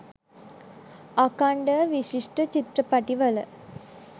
අඛන්ඩව විශිෂ්ට චිත්‍රපටිවල